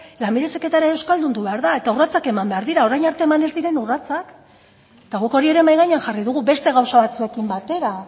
lanbide heziketa ere euskaldundu behar da eta urratsak eman behar dira orain arte eman ez diren urratsak eta guk hori ere mahai gainean jarri dugu beste gauza batzuekin batera